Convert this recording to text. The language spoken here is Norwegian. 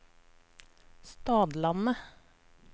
Stadlandet